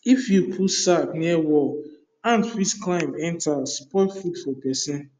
if you put sack near wall ant fit climb enter spoil food for person